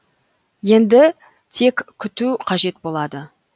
енді тек күту қажет болады